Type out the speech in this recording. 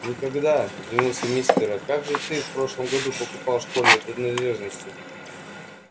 никогда изумился мистер а как же ты в прошлом году покупал школьные принадлежности